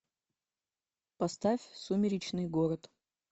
поставь сумеречный город